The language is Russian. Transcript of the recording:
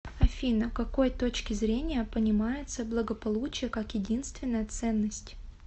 афина к какой точки зрения понимается благополучие как единственная ценность